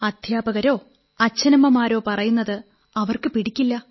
അധ്യാപകരോ അച്ഛനമ്മമാരോ പറയുന്നത് അവർക്ക് പിടിക്കില്ല